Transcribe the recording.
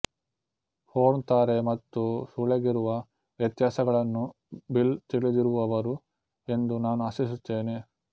porn ತಾರೆ ಮತ್ತು ಸೂಳೆಗಿರುವ ವ್ಯತ್ಯಾಸಗಳನ್ನು ಬಿಲ್ ತಿಳಿದಿರುವರು ಎಂದು ನಾನು ಆಶಿಸುತ್ತೇನೆ